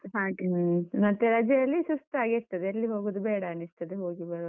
ಹಾಗೆ, ರಜೆಯಲ್ಲಿ ಸುಸ್ತಾಗಿರ್ತದೆ ಯೆಲ್ಲಿ ಹೋಗುದು ಬೇಡನಿಸ್ತದೆ ಹೋಗಿ ಬರುವಾಗ.